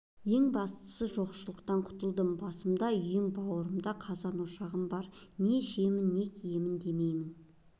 ең бастысы жоқшылықтан құтылдым басымда үйім бауырымда қазан-ошағым бар не ішемін не киемін демеймін